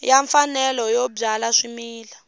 xa mfanelo yo byala swimila